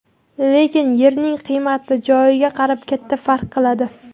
Lekin yerning qiymati joyiga qarab katta farq qiladi.